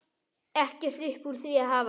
Ekkert upp úr því að hafa!